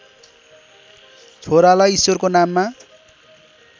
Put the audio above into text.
छोरालाई ईश्वरको नाममा